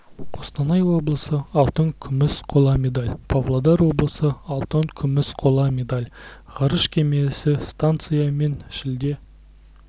қостанай облысы алтын күміс қола медаль павлодар облысы алтын күміс қола медаль ғарыш кемесі станциямен шілде